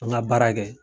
An ka baara kɛ